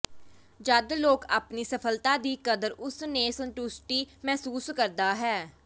ਜਦ ਲੋਕ ਆਪਣੀ ਸਫਲਤਾ ਦੀ ਕਦਰ ਉਸ ਨੇ ਸੰਤੁਸ਼ਟੀ ਮਹਿਸੂਸ ਕਰਦਾ ਹੈ